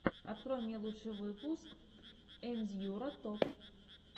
открой мне лучший выпуск ендьюро топ